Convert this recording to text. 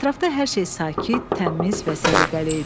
Ətrafda hər şey sakit, təmiz və səliqəli idi.